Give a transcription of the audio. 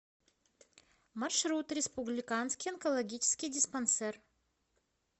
маршрут республиканский онкологический диспансер